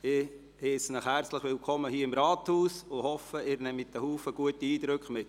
Ich heisse Sie herzlich willkommen hier im Rathaus und hoffe, Sie nehmen einen Haufen guter Eindrücke mit.